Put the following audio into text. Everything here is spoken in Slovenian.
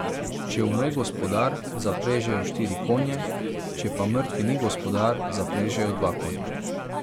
Če umre gospodar, zaprežejo štiri konje, če pa mrtvi ni gospodar, zaprežejo dva konja.